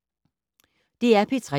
DR P3